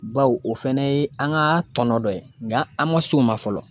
Baw o fana ye an ka tɔnɔ dɔ ye nka an ma s'o ma fɔlɔ.